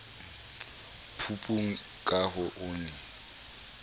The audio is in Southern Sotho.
phupung ka ha o ne